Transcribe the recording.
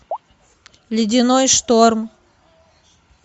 ледяной шторм